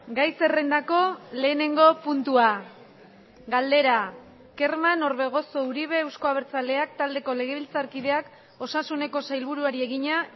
gai zerrendako lehenengo puntua galdera kerman orbegozo uribe euzko abertzaleak taldeko legebiltzarkideak osasuneko sailburuari egina